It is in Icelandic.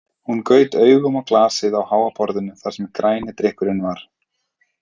Hún gaut augunum á glasið á háa borðinu þar sem græni drykkurinn var.